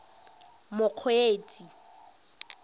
mokgweetsi